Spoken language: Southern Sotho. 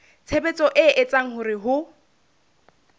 tshebetso e etsang hore ho